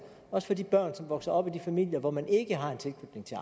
også for de børn som vokser op i de familier hvor man ikke har en tilknytning til